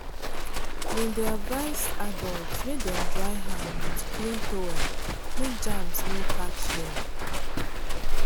dem dey advise adults make dem dry hand with clean towel make germs no catch dem.